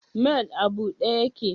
mall a bude yake?